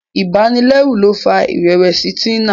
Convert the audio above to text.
ibanilẹru ló fà irẹwẹsi Tina.